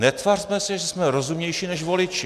Netvařme se, že jsme rozumnější než voliči.